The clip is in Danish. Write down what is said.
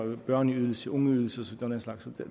børneydelse ungeydelse og den slags